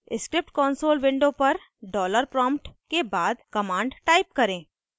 script console window पर $dollar prompt के बाद command type करें